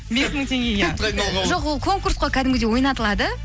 бес мың теңгеге иә жоқ ол конкурс қой кәдімгідей ойнатылады